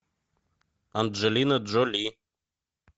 анджелина джоли